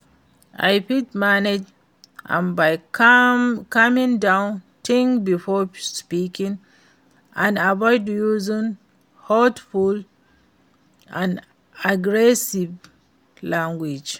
i fit manage am by calming down, think before speaking and avoid using hurtful and aggressive language.